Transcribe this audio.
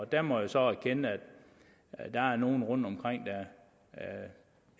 der må jeg så erkende at der er nogen rundtomkring der